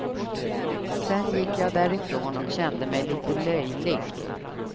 Sen gick jag därifrån och kände mig lite löjlig.